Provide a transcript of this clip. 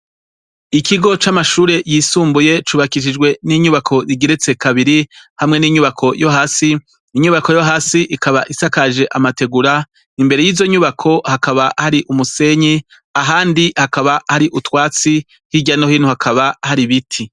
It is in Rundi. Ikigo c'amashure yisumbuye, cubakishijwe n'inyubakwa igeretse kabiri, hamwe n'inyubako yo hasi, inyubako yo hasi ikaba isakaje amategura, imbere yizo nyubako hakaba hari umusenyi ahandi hakaba hari utwatsi, hirya no hino hakaba hari ibiti.